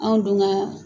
Anw dun ka